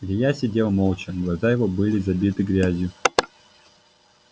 илья сидел молча глаза его были забиты грязью